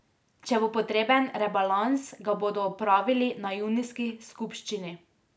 Če bo potreben rebalans, ga bodo opravili na junijski skupščini.